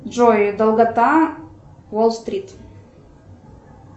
джой долгота уолл стрит